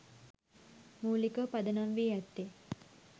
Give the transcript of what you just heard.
මූලිකව පදනම්වී ඇත්තේ